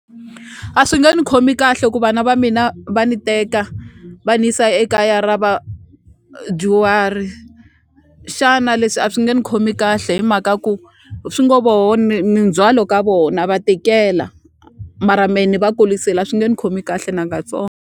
A swi nge ni khomi kahle ku vana va mina va ni teka va ni yisa ekaya ra vadyuhari xana leswi a swi nge ni khomi kahle hi mhaka ku swingo voho ni ni ndzhwalo ka vo na va tikela mara me ni va kurisile a swi nge ni khomi kahle .